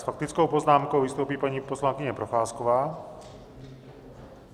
S faktickou poznámkou vystoupí paní poslankyně Procházková.